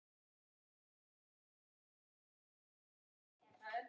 Þú hlýtur að vera á rosalaunum, er það ekki?